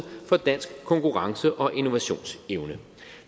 for dansk konkurrence og innovationsevne